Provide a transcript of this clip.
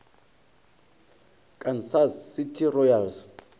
kansas city royals